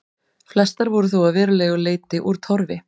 Flestar voru þó að verulegu leyti úr torfi.